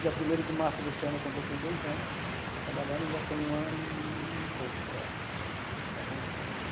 No dia primeiro de março deste ano eu completei dois anos trabalhando e ainda tenho um ano e pouco para vencer.